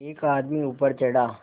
एक आदमी ऊपर चढ़ा